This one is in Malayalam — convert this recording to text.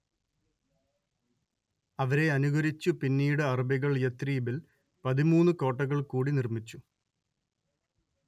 അവരെ അനുകരിച്ചു പിന്നീട് അറബികൾ യഥ്‌രിബിൽ പതിമൂന്നു കോട്ടകൾ കൂടി നിർമ്മിച്ചു